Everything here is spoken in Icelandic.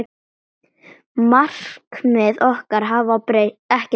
Markmið okkar hafa ekkert breyst.